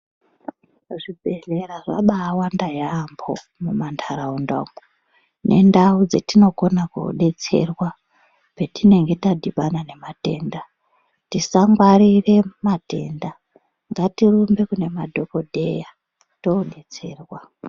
Zvibhedhlera zvabawanda yambo mumandaraunda umu nendau dzetinokona kudetserwa petinenge tadhibana yematenda tisangwarire matenda ngatirumbe kune madhokodheya todetserwa.